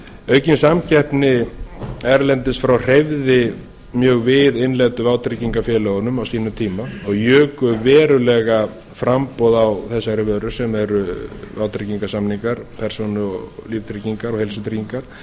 aukin samkeppni erlendis frá hreyfði mjög við innlendu vátryggingafélögunum á sínum tíma og juku verulega framboð á þessari vöru sem eru vátryggingarsamningar persónu og líftryggingar og heilsutryggingar